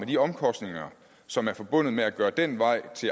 de omkostninger som er forbundet med at gøre den vej